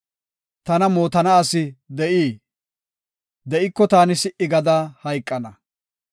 Tana mootana asi de7ii? De7iko taani si77i gada hayqana.